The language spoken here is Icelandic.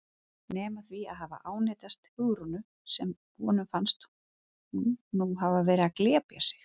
Nema því að hafa ánetjast Hugrúnu sem honum fannst nú hafa verið að glepja sig.